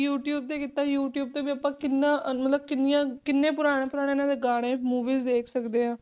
YouTube ਤੇ ਕੀਤਾ YouTube ਤੇ ਵੀ ਆਪਾਂ ਕਿੰਨਾ ਮਤਲਬ ਕਿੰਨੀਆਂ ਕਿੰਨੇ ਪੁਰਾਣੇ ਪੁਰਾਣੇ ਇਹਨਾਂ ਦੇ ਗਾਣੇ movies ਵੇਖ ਸਕਦੇ ਹਾਂ